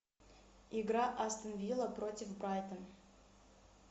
игра астон вилла против брайтон